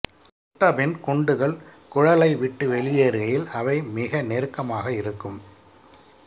சுட்டபின் குண்டுகள் குழலைவிட்டு வெளியேறுகையில் அவை மிக நெருக்கமாக இருக்கும்